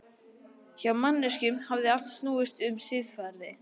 Hjá manneskjunum hafði allt snúist um siðferði.